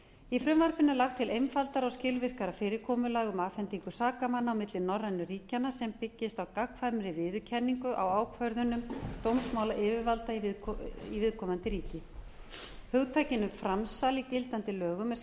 í frumvarpinu er lagt til einfaldara og skilvirkara fyrirkomulag um afhendingu sakamanna á milli norrænu ríkjanna sem byggist á gagnkvæmri viðurkenningu á ákvörðunum dómsmálayfirvalda viðkomandi ríkja hugtakinu framsal í gildandi lögum er